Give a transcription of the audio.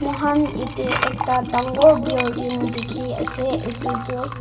muhan yetey ekta dangor building dikhi ase itutu.